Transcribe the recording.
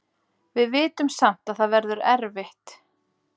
Við vitum samt að það verður erfitt.